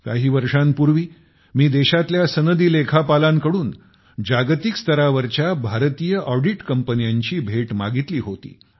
काही वर्षांपूर्वी मी देशातल्या सनदी लेखापालांकडून जागतिक स्तरावरच्या भारतीय ऑडिट कंपन्या तयार करण्याची भेट मागितली होती